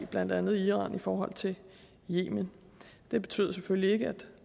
blandt andet iran i forhold til yemen det betyder selvfølgelig ikke at